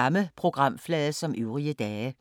Samme programflade som øvrige dage